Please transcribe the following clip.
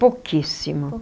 Pouquíssimo.